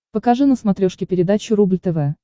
покажи на смотрешке передачу рубль тв